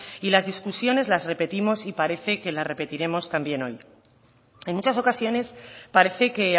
y las discusiones las repetimos y parece que las repetiremos también hoy en muchas ocasiones parece que